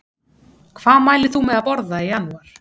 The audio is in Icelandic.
Hvað mælir þú með að borða í janúar?